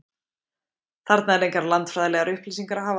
Þarna er engar landfræðilegar upplýsingar að hafa.